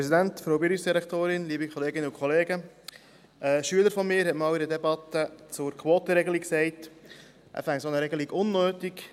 Ein Schüler von mir hat einmal in einer Debatte zur Quotenregelung gesagt, er finde eine solche Regelung unnötig.